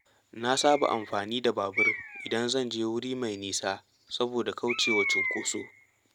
Na saba amfani da babur idan zan je wuri mai nisa saboda kauce wa cunkoso.